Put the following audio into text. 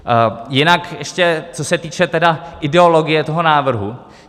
Jinak ještě co se týče ideologie toho návrhu.